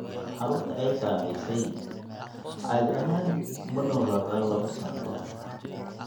Carruurta ay saamaysay caadi ahaan ma noolaadaan laba sano ka hor.